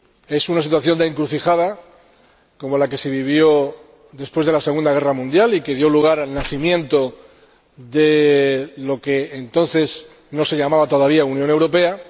Es una situación de encrucijada como la que se vivió después de la Segunda Guerra Mundial y que dio lugar al nacimiento de lo que entonces no se llamaba todavía Unión Europea.